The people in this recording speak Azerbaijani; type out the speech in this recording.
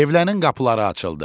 Evlərin qapıları açıldı.